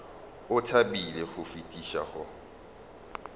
o thabile go fetiša go